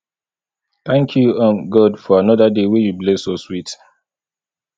thank you um god for another day wey you bless us with